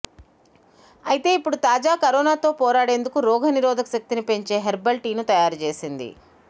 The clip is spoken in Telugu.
అయితే ఇప్పుడు తాజా కరోనా తో పోరాడేందుకు రోగనిరోధక శక్తిని పెంచే హెర్బల్ టీని తయారు చేసింది